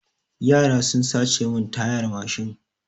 Yara sun sace mun tayar mashin.